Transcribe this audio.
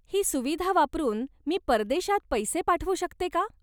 ही सुविधा वापरुन मी परदेशात पैसे पाठवू शकते का?